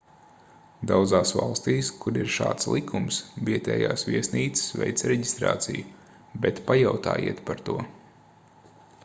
daudzās valstīs kur ir šāds likums vietējās viesnīcas veic reģistrāciju bet pajautājiet par to